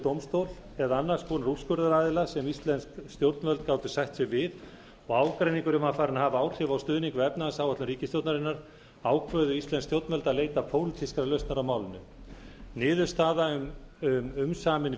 dómstól eða annars konar úrskurðaraðila sem íslensk stjórnvöld gátu sætt sig við og ágreiningurinn var farinn að hafa áhrif á stuðning við efnahagsáætlun ríkisstjórnarinnar ákváðu íslensk stjórnvöld að leita pólitískrar lausnar á málinu niðurstaða um umsamin